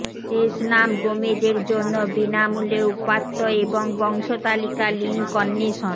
শেষ নাম গোমেজ জন্য বিনামূল্যে উপাত্ত এবং বংশতালিকা লিঙ্ক অন্বেষণ